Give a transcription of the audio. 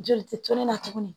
Joli tɛ toli la tuguni